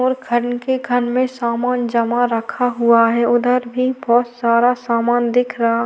और खन के खाने में सामान जमा रखा हुआ है उधर भी बहुत सारा समान दिख रहा--